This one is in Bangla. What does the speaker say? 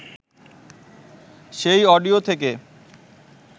সেই অডিও থেকে